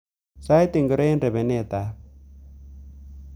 Sait ngiro nguno eng rebendab *******